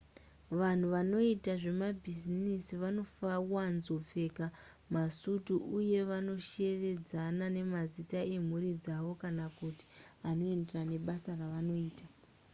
vanhu vanoita zvebhizinesi vanowanzopfeka masutu uye vanoshevedzana nemazita emhuri dzavo kana kuti anoenderana nebasa ravanoita